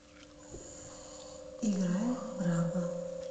играй браба